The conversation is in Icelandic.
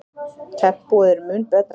Tempóið er mun betra.